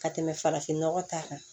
Ka tɛmɛ farafinnɔgɔ ta kan